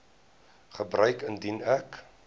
gebeur indien ek